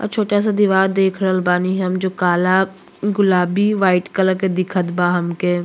और छोटा सा दीवार देख रहल बानी हम जो काला गुलाबी वाइट कलर के दिखत बा हमके।